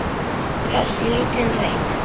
Kross í lítinn reit.